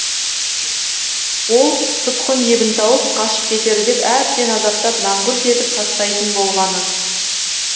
ол тұтқын ебін тауып қашып кетер деп әбден азаптап мәңгүрт етіп тастайтын болған